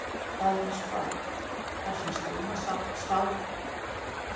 Það er eins gott, þar sem slíma smáþarma hefur enga aðra vörn gegn magasýrunni.